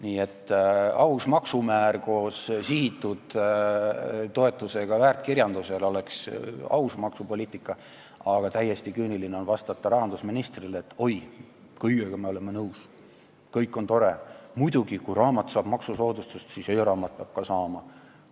Nii et aus maksumäär koos sihitud toetusega väärtkirjandusele oleks aus maksupoliitika, aga rahandusminister vastab täiesti küüniliselt, et oi, me oleme kõigega nõus, kõik on tore, muidugi, kui raamat saab maksusoodustust, siis e-raamat peab ka saama.